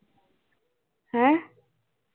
ਹੈਂਅ